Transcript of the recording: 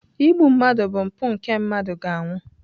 Igbu mmadụ bụ mpụ nke mmadụ ga-anwụ.